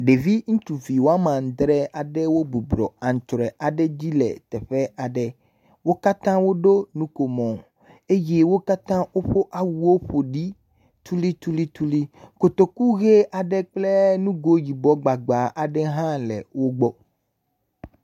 Ɖevi ŋutsuvi woamadre aɖewo bɔbɔnɔ anŋutsrɔe aɖe dzi le teƒe aɖe, wo katã wo ɖo nukomo eye wo katã woƒe awuwo ƒo ɖi tulitulituli, kotoku ʋe aɖe kple ŋgo yibɔ gbagba aɖe hã le wo gbɔ.